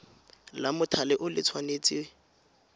la mothale o le tshwanetse